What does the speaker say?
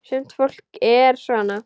Sumt fólk er svona.